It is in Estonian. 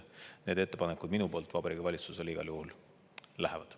Need ettepanekud minu poolt Vabariigi Valitsusele igal juhul lähevad.